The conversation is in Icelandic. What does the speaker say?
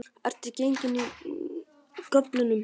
Ertu gengin af göflunum?